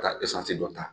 Ka eseye dɔ ta